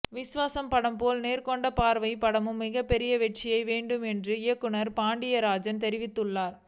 விஸ்வாசம் படம் போல நேர்கொண்ட பார்வை படமும் மிகப் பெரிய வெற்றியடைய வேண்டும் என்று இயக்குனர் பாண்டிய ராஜ் தெரிவித்துள்ளார்